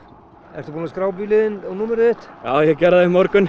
ertu búinn að skrá bílinn þinn og númerið þitt já ég gerði það í morgun